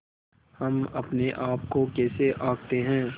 हम अपने आप को कैसे आँकते हैं